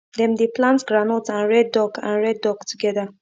dem dey plant groundnut and rear duck and rear duck together